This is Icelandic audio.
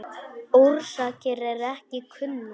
Orsakir eru ekki kunnar.